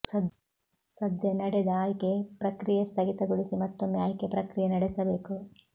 ಸದ್ಯ ನಡೆದ ಆಯ್ಕೆ ಪ್ರಕ್ರಿಯೆ ಸ್ಥಗಿತಗೊಳಿಸಿ ಮತ್ತೊಮ್ಮೆ ಆಯ್ಕೆ ಪ್ರಕ್ರಿಯೆ ನಡೆಸಬೇಕು